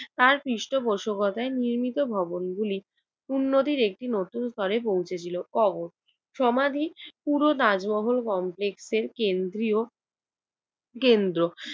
তার পৃষ্ঠপোষকতায় নির্মিত ভবনগুলো উন্নতির একটি নতুন স্তরে পৌঁছেছিল কবর সমাধি পুরো তাজমহল কমপ্লেক্সের কেন্দ্রীয় কেন্দ্র।